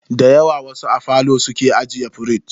Dayawa wasu a falo suke ajiye firij.